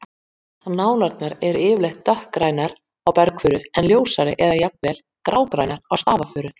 Nálarnar eru yfirleitt dökkgrænar á bergfuru en ljósari eða jafn vel grágrænar á stafafuru.